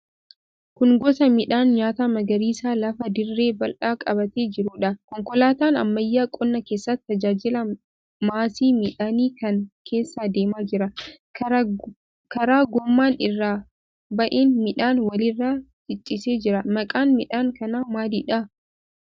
Kun gosa midhaan nyaataa magariisa lafa dirree bal'aa qabatee jiruudha. Konkolaataa ammayyaan qonna keessatti tajaajila maasii midhaanii kana keessa deemaa jira. Karaa gommaan irra ba'een midhaan walirra ciciisee jira. Maqaan midhaan kanaa maalidha?